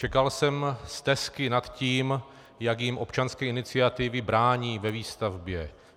Čekal jsem stesky nad tím, jak jim občanské iniciativy brání ve výstavbě.